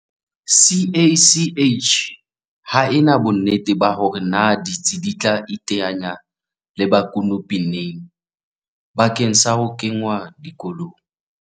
CACH ha ena bonnete ba hore na ditsi di tla iteanya le bakopi neng bakeng sa ho kengwa dikolong.